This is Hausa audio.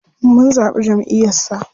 Mun zaɓi jamʼiyar sa.